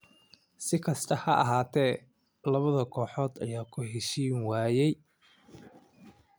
Si kastaba ha ahaatee, labada kooxood ayaa ku heshiin waayay.